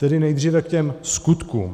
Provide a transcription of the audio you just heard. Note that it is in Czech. Tedy nejdříve k těm skutkům.